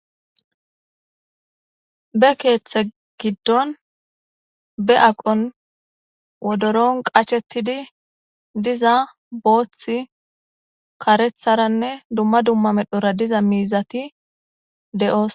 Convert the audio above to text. Be keeththe giddon be aqon wodoron qachchettidi diza booththi, kareththaranne dumma dumma medhora diza miizati de'osona.